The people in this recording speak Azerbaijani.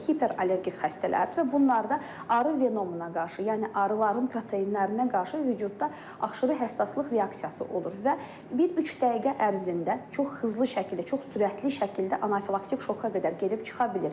Hiperallergik xəstələrdir və bunlarda arı venomuna qarşı, yəni arıların proteinlərinə qarşı vücüdə aşırı həssaslıq reaksiyası olur və bir üç dəqiqə ərzində çox hızlı şəkildə, çox sürətli şəkildə anafilaktik şoka qədər gedib çıxa bilir.